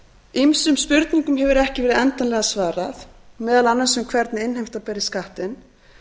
ýmsum spurningum hefur ekki verið endanlega svarað meðal annars um hvernig innheimta beri skattinn